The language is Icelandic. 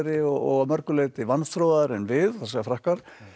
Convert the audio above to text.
og að mörgu leyti vanþróaðri en við það segja Frakkar